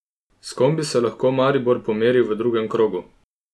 S kom bi se lahko Maribor pomeril v drugem krogu?